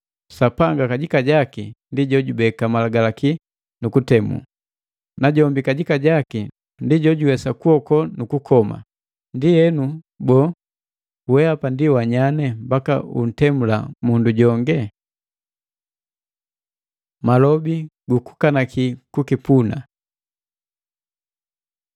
Sapanga kajika jaki ndi jojubeka malagalaki nu kutemu. Najombi kajika jaki ndi jojuwesa kuokowa nukukoma. Ndienu, boo, wehapa ndi wanyanye mbaka untemula mundu jonge? Mabole gukukanaki kukipuna